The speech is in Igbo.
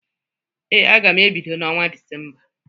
Ee, aga m ebido na ọnwa Disemba.